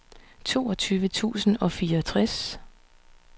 toogtyve tusind og fireogtres